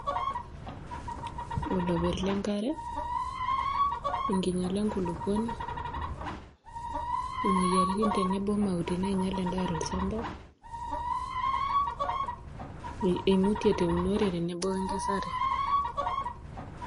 Oloper lenkare, enkinyala enkulukuoni, imoyaritin tenebo o mauti nainyal endaa tolchamba, eimutie teunore tenebo we nkesare.